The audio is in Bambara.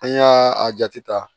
An y'a a jate ta